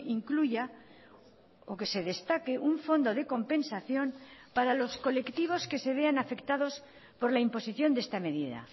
incluya o que se destaque un fondo de compensación para los colectivos que se vean afectados por la imposición de esta medida